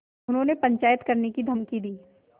उन्होंने पंचायत करने की धमकी दी